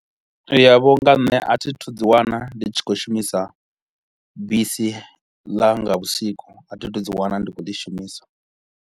Ya vho nga nṋe a thi thu dzi wana ndi tshi khou shumisa bisi ḽa nga vhusiku a thi thu dzi wana ndi kho u li shumisa